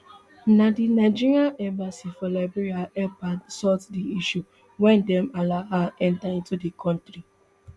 na di nigeria embassy for liberia help her sort di issue wen dem allow her into di kontri